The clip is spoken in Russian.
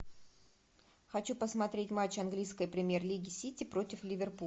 хочу посмотреть матч английской премьер лиги сити против ливерпуля